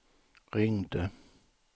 ringde